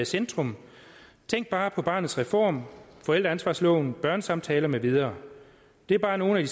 centrum tænk bare på barnets reform forældreansvarsloven børnesamtaler med videre det er bare nogle